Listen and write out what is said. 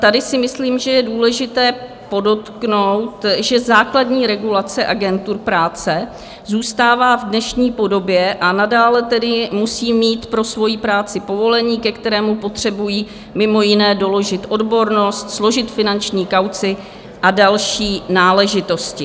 Tady si myslím, že je důležité podotknout, že základní regulace agentur práce zůstává v dnešní podobě, a nadále tedy musí mít pro svoji práci povolení, ke kterému potřebují mimo jiné doložit odbornost, složit finanční kauci a další náležitosti.